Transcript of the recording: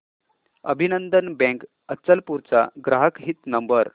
अभिनंदन बँक अचलपूर चा ग्राहक हित नंबर